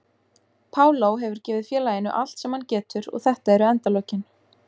Paulo hefur gefið félaginu allt sem hann getur og þetta eru endalokin.